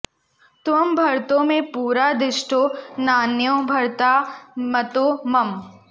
त्वं भर्ता मे पुरा दिष्टो नान्यो भर्ता मतो मम